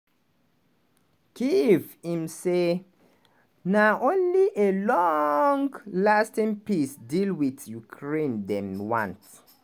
kyiv im say na only a long-lasting peace deal wit ukraine dem want.